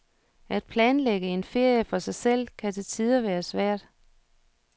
At planlægge en ferie for sig selv kan til tider være svært.